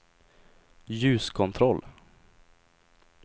ljuskontroll